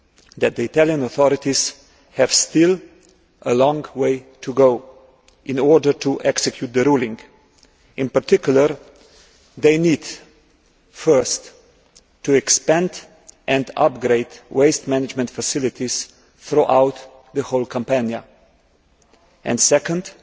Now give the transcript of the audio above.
that the Italian authorities still have a long way to go in order to execute the ruling. In particular, they need, firstly, to expand and upgrade waste management facilities throughout the whole of Campania and, secondly,